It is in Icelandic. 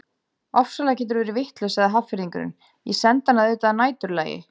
Ofsalega geturðu verið vitlaus sagði Hafnfirðingurinn, ég sendi hana auðvitað að næturlagi